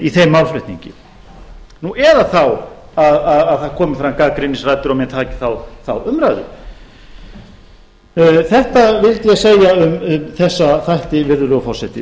í þeim málflutningi nú eða þá að það komi fram gagnrýnisraddir og menn taki þá umræðu þetta vildi ég segja um þessa þætti virðulegur forseti